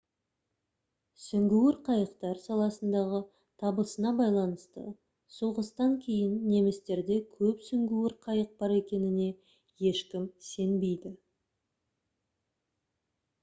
сүңгуір қайықтар саласындағы табысына байланысты соғыстан кейін немістерде көп сүңгуір қайық бар екеніне ешкім сенбейді